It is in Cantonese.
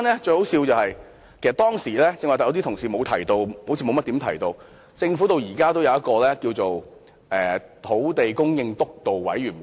最可笑的是，當時......剛才同事好像沒有提及政府中至今仍然存在的土地供應督導委員會。